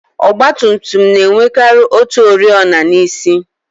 Ọgbatumtum na-enwekari otu oriọna n'isi.